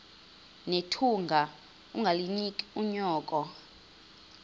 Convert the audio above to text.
nethunga ungalinik unyoko